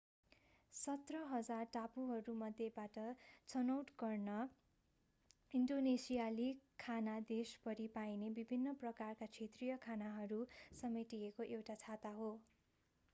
17,000 टापुहरूमध्येबाट छनौट गर्न ईन्डोनेसियाली खाना देशभरि पाइने विभिन्न प्रकारका क्षेत्रीय खानाहरू समेटिएको एउटा छाता हो